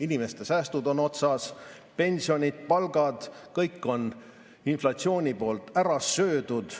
Inimeste säästud on otsas, pensionid, palgad – kõik on inflatsioon ära söönud.